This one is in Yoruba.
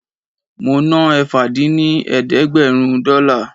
Mo ná ẹ̀fà dín ní ẹ̀ẹ́dẹ́gbẹ́rún dọ́là